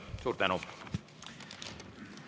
Suur tänu!